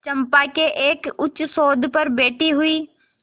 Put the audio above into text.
चंपा के एक उच्चसौध पर बैठी हुई